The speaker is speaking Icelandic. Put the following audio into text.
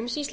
umsýsla